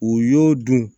U y'o dun